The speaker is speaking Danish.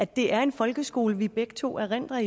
det er en folkeskole som vi begge to erindrer